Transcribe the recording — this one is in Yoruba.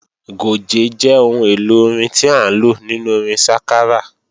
Gòjé jẹ́ ohun èlò orin tí à ń lò nínú orin sákárà